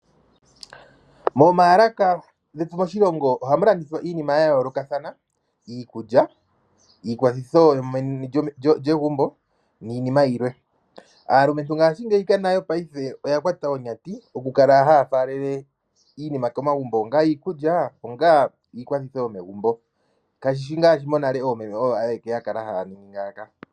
Momaalaka getu moshilongo ohamu landithwa iinima ya yoolokathana. Iikulya, iikwathitho yomeni lyegumbo niinima yilwe. Aalumentu ngaashingeyi nayo oya kwata onyati oku kala haya faalele iinima komagumbo . Onga iikulya, iikwathitho yomegumbu. Ka shishi ngaashi nale oomeme oyo ayeke yakala haya ningi ngaaka.